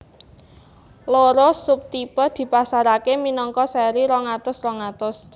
Loro sub tipe dipasaraké minangka sèri rong atus rong atus